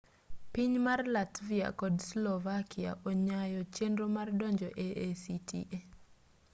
piny mar latvia kod slovakia onyayo chenro mar donjo e acta